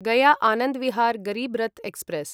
Gaya Anand Vihar Garib Rath express